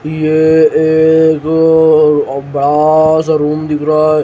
यह एक बड़ा सा रूम दिख रहा है।